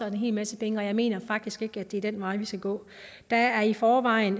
en hel masse penge og jeg mener faktisk ikke det er den vej vi skal gå der er i forvejen